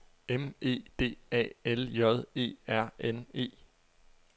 M E D A L J E R N E